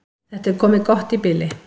Þetta er komið gott í bili.